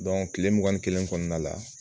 Dɔnku tile mugan ni kelen kɔnɔna la.